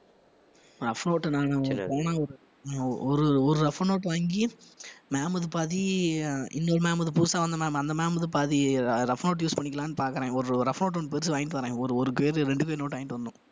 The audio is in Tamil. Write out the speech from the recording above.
rough note நானு ஒரு ஒரு rough note வாங்கி ma'am க்கு பாதி இன்னொரு ma'am க்கு புதுசா வந்த ma'am அந்த ma'am க்கு பாதி அஹ் rough note use பண்ணிக்கலாம்ன்னு பாக்கிறேன் ஒரு rough note ஒண்ணு பெருசு வாங்கிட்டு வர்றேன் ஒரு ஒரு quire ரெண்டு quire note வாங்கிட்டு வரணும்